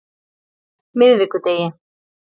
miðvikudegi